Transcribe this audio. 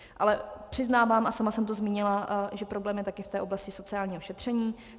Ale přiznávám, a sama jsem to zmínila, že problém je taky v té oblasti sociálního šetření.